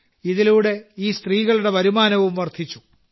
ഇതിലൂടെ ഈ സ്ത്രീകളുടെ വരുമാനവും വർദ്ധിച്ചു